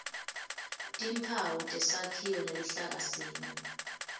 timphawu tesakhiwo neluhlakasimo